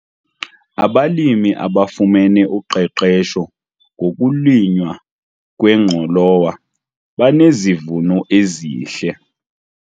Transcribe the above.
Abalimi abafumene uqeqesho ngokulinywa kwengqolowa banezivuno ezihle.